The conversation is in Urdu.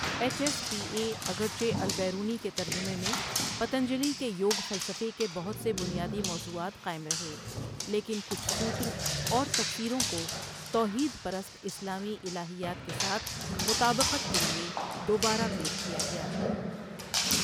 ایچ ایس پی اے اگرچہ البیرونی کے ترجمے میں پتنجلی کے یوگ فلسفے کے بہت سے بنیادی موضوعات قائم رہے، لیکن کچھ سوتر اور تفسیروں کو توحید پرست اسلامی الہیات کے ساتھ مطابقت کے لیے دوبارہ پیش کیا گیا۔